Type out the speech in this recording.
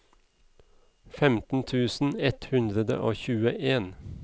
femten tusen ett hundre og tjueen